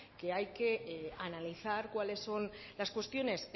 que hay que analizar cuáles son las cuestiones